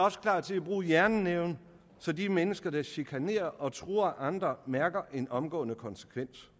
også klar til at bruge jernnæven så de mennesker der chikanerer og truer andre mærker en omgående konsekvens